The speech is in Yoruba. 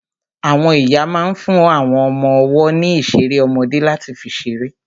Àwọn ìyá ma ń fún àwọn ọmọ ọwọ́ ní ìṣeré ọmọdé láti fi ṣeré.